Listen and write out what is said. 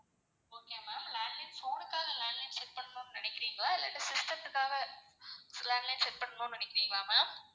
okay ma'am landline phone னுக்காக landline set பண்ணனும்னு நினைக்குறீங்களா? இல்லாட்டா system துக்காக landline set பண்ணனும்னு நினைக்குறீங்களா? ma'am